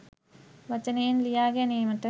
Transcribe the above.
වචනයෙන් ලියා ගැනීමට